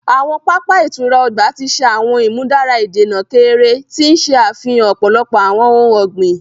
Awọn papa ìtura ọgbà ti ṣe awọn imudara ìdènà keere, ti n ṣe afihan ọpọlọpọ awọn ohùn ọgbin.